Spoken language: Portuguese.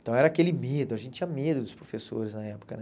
Então era aquele medo, a gente tinha medo dos professores na época, né?